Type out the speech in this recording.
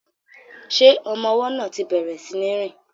Ṣé ọmọ ọwọ́ náà ti bẹ̀rẹ̀ sí ní rìn?